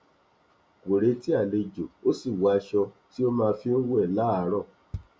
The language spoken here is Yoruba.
kò retí àlejò ó sì wọ aṣọ tí ó máa fi ń wẹ láàárọ